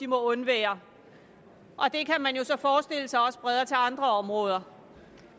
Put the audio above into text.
må undvære det kan man jo så forestille sig også breder sig til andre områder